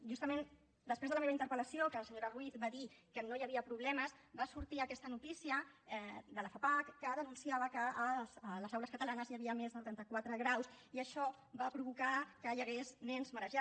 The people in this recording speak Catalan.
justament després de la meva interpel·lació que la senyora ruiz va dir que no hi havia problemes va sortir aquesta notícia de la fapac que denunciava que a les aules catalanes hi havia més de trenta quatre graus i això va provocar que hi hagués nens marejats vòmits deshidratació i episodis d’hipotensió